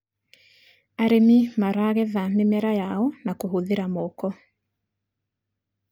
arĩmi maragetha mĩmera yao na kuhuthira moko